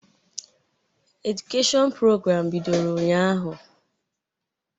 Edụkeshịọn prograamụ bidoro ụnyahụ.